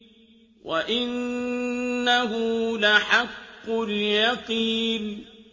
وَإِنَّهُ لَحَقُّ الْيَقِينِ